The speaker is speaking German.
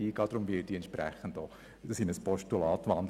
Dementsprechend wandle ich die Motion in ein Postulat um.